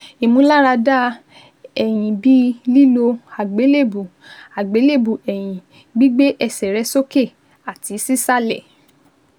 ìmúláradá ẹ̀yìn bí lílo àgbélébùú, àgbélébùú ẹ̀yìn, gbígbé ẹsẹ̀ rẹ sókè àti sísàlẹ̀